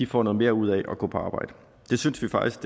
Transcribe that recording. får noget mere ud af at gå på arbejde det synes vi faktisk